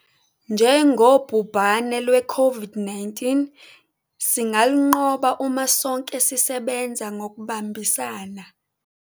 Njengobhubhane lweCOVID-19 singalunqoba uma sonke sisebenza ngokubambisana.